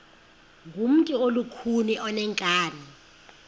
ngumntu olukhuni oneenkani